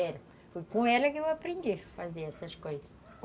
É, foi com ela que eu aprendi a fazer essas coisas.